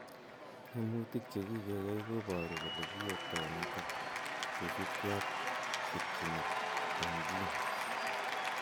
Tyemutik chekikeyai koboru kole kiyoptoi nitok kosubkei ak ketchinet eng' genes